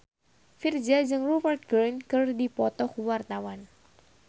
Virzha jeung Rupert Grin keur dipoto ku wartawan